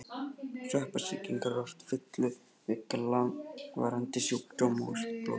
Sveppasýkingar eru oft fylgikvillar langvarandi sjúkdóma og blóðsjúkdóma.